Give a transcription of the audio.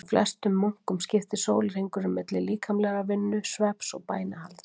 Hjá flestum munkum skiptist sólarhringurinn milli líkamlegrar vinnu, svefns og bænahalds.